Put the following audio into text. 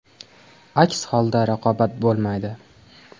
Aks holda raqobat bo‘lmaydi.